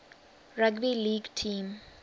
rugby league team